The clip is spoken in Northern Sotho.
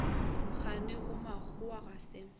kgane yo mmakgowa ga se